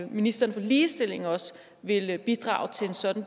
ministeren for ligestilling også ville bidrage til sådan